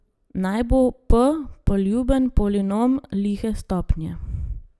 Naj bo p poljuben polinom lihe stopnje.